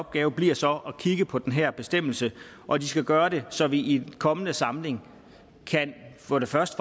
opgave bliver så at kigge på den her bestemmelse og de skal gøre det så vi i den kommende samling for det første